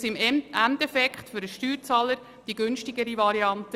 Denn im Endeffekt ist es für den Steuerzahler die günstigere Variante.